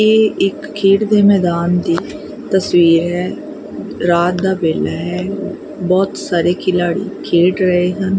ਇਹ ਇੱਕ ਖੇਡ ਦੇ ਮੈਦਾਨ ਦੀ ਤਸਵੀਰ ਹੈ ਰਾਤ ਦਾ ਵੇਲਾ ਹੈ ਬਹੁਤ ਸਾਰੇ ਖਿਲਾੜੀ ਖੇਡ ਰਹੇ ਹਨ।